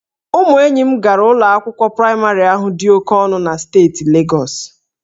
Ụmụ enyi m gara ụlọ akwụkwọ praịmarị ahụ dị oke ọnụ na steeti Legọs